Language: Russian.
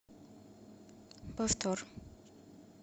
повтор